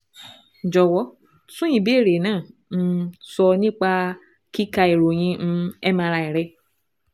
Jọ̀wọ́ tún ìbéèrè náà um sọ nípa kíka ìròyìn um MRI rẹ